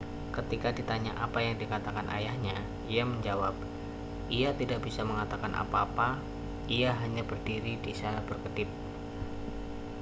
ketika ditanya apa yang dikatakan ayahnya ia menjawab ia tidak bisa mengatakan apa-apa ia hanya berdiri di sana berkedip